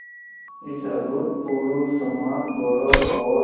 इस अभूतपूर्व सम्मानगौरव और